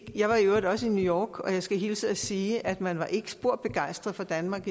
jeg var i øvrigt også i new york og jeg skal hilse og sige at man der ikke var spor begejstret for danmark